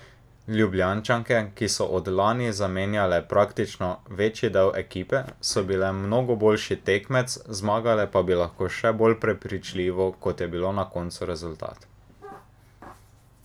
Ljubljančanke, ki so od lani zamenjale praktično večji del ekipe, so bile mnogo boljši tekmec, zmagale pa bi lahko še bolj prepričljivo, kot je bilo na koncu rezultat.